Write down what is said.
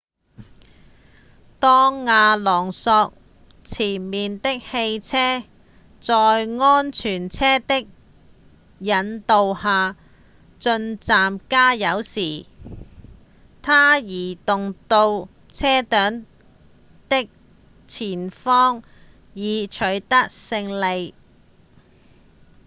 當阿隆索前面的汽車在安全車的引領下進站加油時他移動到車隊的前方以取得勝利